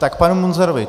K panu Munzarovi.